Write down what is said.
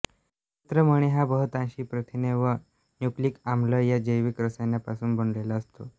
नेत्रमणी हा बहुतांशी प्रथिने व न्यूक्लिक आम्ल या जैविक रसायनांपासून बनलेला असतो